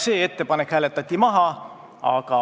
See ettepanek hääletati maha.